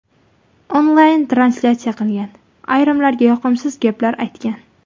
Onlayn translyatsiya qilgan , ayrimlarga yoqimsiz gaplar aytgan.